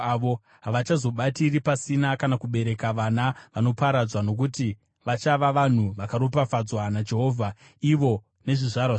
Havachazoshandira pasina kana kubereka vana vanoparadzwa; nokuti vachava vanhu vakaropafadzwa naJehovha, ivo nezvizvarwa zvavo.